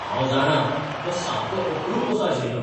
हांव जाणां! तो सामको अप्रूप असो आशिल्लो.